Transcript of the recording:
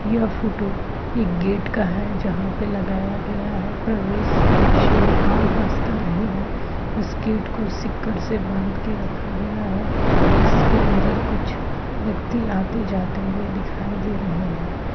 यह फोटो एक गेट का है जहाँ पे लगाया गया है प्रवेश निषेध आम रास्ता नहीं है। इस गेट को सीकड़ से बांध के रखा गया है। इसके अंदर कुछ व्यक्ति आते जाते हुऐ दिखाई दे रहे हैं।